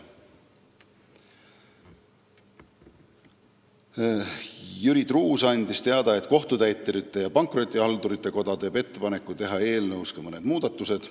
Jüri Truuts andis teada, et Kohtutäiturite ja Pankrotihaldurite Koda teeb ettepaneku teha eelnõus mõned muudatused.